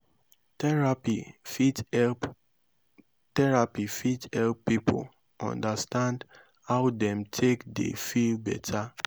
therapy fit help therapy fit help pipo undastand how dem take dey feel beta